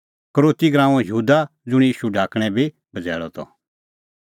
यहूदा इसकरोती ज़ुंणी ईशू ढाकणैं बी बझ़ैल़अ त